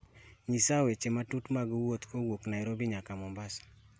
nyisa weche matut mag wuoth kowuok nairobi nyaka mombasa